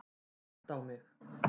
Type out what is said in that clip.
Gott á mig.